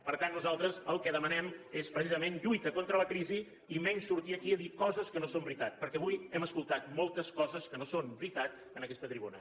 per tant nosaltres el que demanem és precisament lluita contra la crisi i menys sortir aquí a dir coses que no són veritat perquè avui hem escoltat moltes coses que no són veritat en aquesta tribuna